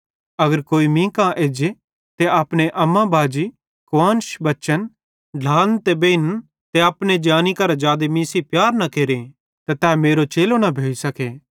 अगर कोई मींका एज्जे ते अपने अम्मा बाजी कुआन्श बच्चन ढ्लान ते बेइन्न ते अपने जानी करां जादे प्यार मीं सेइं न केरे त तै मेरो चेलो न भोइ सके